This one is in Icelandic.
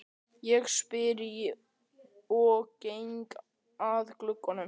spyr ég og geng að glugganum.